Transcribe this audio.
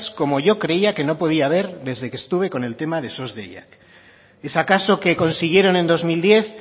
como yo creía que no podía haber desde que estuve con el tema de sos deiak es acaso que consiguieron en dos mil diez